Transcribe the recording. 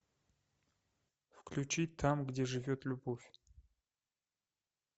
включи там где живет любовь